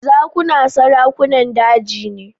Zakuna sarakunan daji ne.